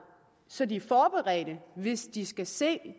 så de er forberedt hvis de skal se